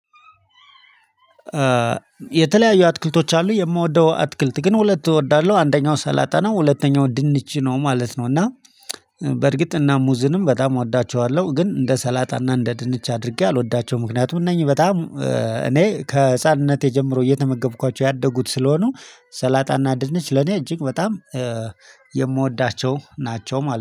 የተለያዩ አትክልቶች አሉ የምወደው አትክልት ግን ሁለት እወዳለሁ አንደኛው ሰላጣ ነው ሁለተኛው ድንች ነው ማለት ነው። እና በርግጥ እና ሙዝንም በጣም እወዳቸዋለሁ ግን እንደ ሰላጣና እንደ ድንች አድርጌ አልወዳቸውም። ምክንያቱም እነኚህ በጣም እኔ ከህፃንነቴ ጀምሮ እየተመገብኳቸው ያደጉት ስለሆኑ ሰላጣና ድንች ለኔ እጅግ በጣም የምወዳቸው ናቸው። ማለት ነው